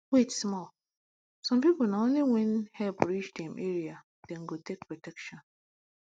wait small some people na only when help reach dem area dem go take protection